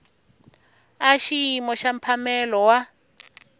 a xiyimo xa mphamelo wa